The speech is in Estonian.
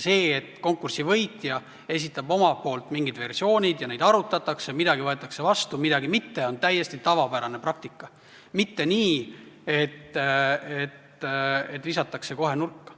See, et konkursi võitja esitab omalt poolt mingid versioonid ja neid arutatakse, midagi neist võetakse vastu ja midagi mitte, on täiesti tavapärane praktika, mitte nii, et inimene visatakse kohe nurka.